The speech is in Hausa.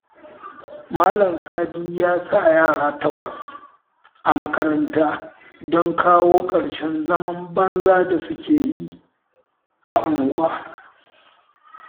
Malam Sadi ya sa yara takwas a makaranta don kawo ƙarshen zaman banzan da suke yi a unguwa